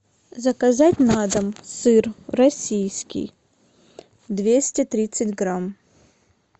заказать на дом сыр российский двести тридцать грамм